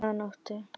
Tvö að nóttu